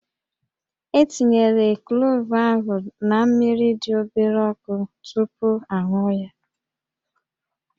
E tinyere klove ahụ na mmiri dị obere ọkụ tupu a ṅụọ ya